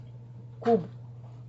куб